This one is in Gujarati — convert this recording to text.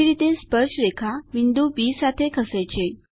કેવી રીતે સ્પર્શરેખા બિંદુ બી સાથે ખસે છે